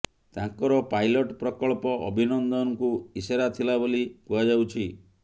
ତାଙ୍କର ପାଇଲଟ୍ ପ୍ରକଳ୍ପ ଅଭିନନ୍ଦନଙ୍କୁ ଇସାରା ଥିଲା ବୋଲି କୁହାଯାଉଛି